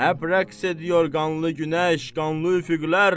Həp rəqs ediyor qanlı günəş, qanlı üfüqlər.